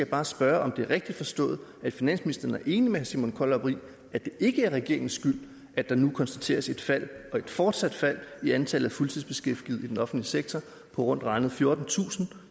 bare spørge om det er rigtigt forstået at finansministeren er enig med herre simon kollerup i at det ikke er regeringens skyld at der nu konstateres et fald og et fortsat fald i antallet af fuldtidsbeskæftigede i den offentlige sektor på rundt regnet fjortentusind